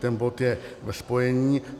Ten bod je ve spojení.